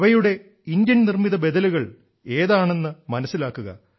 അവയുടെ ഇന്ത്യൻ നിർമ്മിത ബദലുകൾ ഏതാണെന്ന് ഏതാണെന്ന് മനസ്സിലാക്കുക